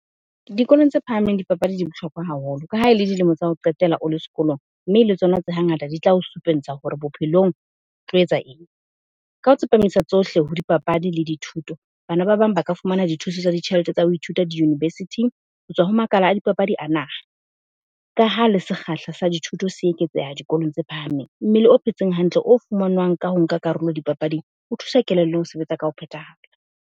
Dikolong tse phahameng dipapadi di bohlokwa haholo ka ha e le dilemo tsa ho qetela o le sekolong, mme le tsona tse ha ngata di tla o supentsha hore bophelong o tlo etsa eng. Ka ho tsepamisa tsohle ho dipapadi le dithuto, bana ba bang ba ka fumana dithuso tsa ditjhelete tsa ho ithuta di-university-ng. Ho tswa ho makala a dipapadi a naha ka ha le sekgahla sa dithuto se eketseha dikolong tse phahameng. Mmele o phetseng hantle, o fumanwang ka ho nka karolo dipapading, o thusa kelellong ho sebetsa ka ho phetahala.